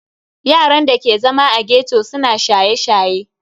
Yaran da ke zama a ghetto suna shaye-shaye.